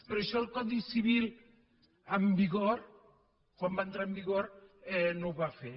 però això el codi civil en vigor quan va entrar en vigor no ho va fer